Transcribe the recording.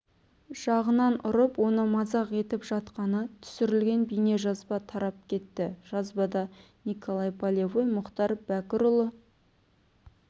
жағынан ұрып оны мазақ етіп жатқаны түсірілген бейнежазба тарап кетті жазбада николай полевой мұхтар бәкірұлы